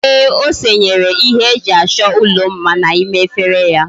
Eeh, o senyere ihe eji acho ulo mma na ime efere ya